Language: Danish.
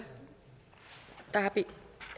se